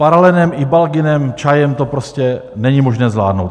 Paralenem, Ibalginem, čajem to prostě není možné zvládnout.